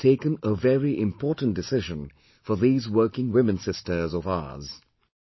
India has taken a very important decision for these working women sisters of ours